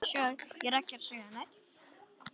Þetta var góður dagur.